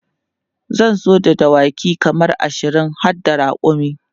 zan zo da dawaki kaman ashirin harda rakumi